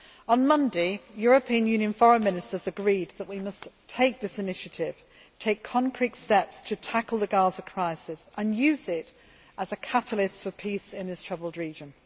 On Monday, European Union Foreign Ministers agreed that we must take this initiative, take concrete steps to tackle the Gaza crisis and use it as a catalyst for peace in this troubled region.